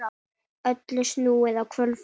Öllu snúið á hvolf.